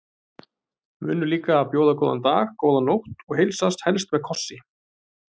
Munum líka að bjóða góðan dag, góða nótt og heilsast, helst með kossi.